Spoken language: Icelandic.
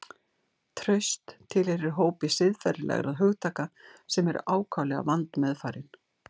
Traust tilheyrir hópi siðferðilegra hugtaka sem eru ákaflega vandmeðfarin.